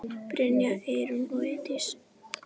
Brynja, Eyrún og Ásdís.